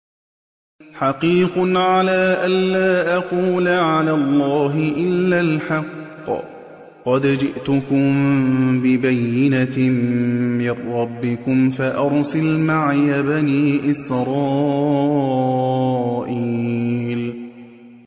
حَقِيقٌ عَلَىٰ أَن لَّا أَقُولَ عَلَى اللَّهِ إِلَّا الْحَقَّ ۚ قَدْ جِئْتُكُم بِبَيِّنَةٍ مِّن رَّبِّكُمْ فَأَرْسِلْ مَعِيَ بَنِي إِسْرَائِيلَ